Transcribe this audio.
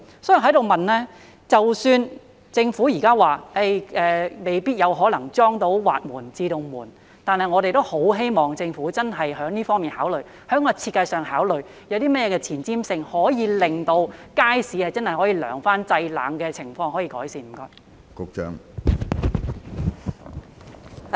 即使政府現在表示未必有可能安裝到滑門或自動門，但我們也很希望政府認真考慮——就設計上作考慮——有些甚麼前瞻性的措施，可以令街市可以真正有涼風，製冷的情況可以改善？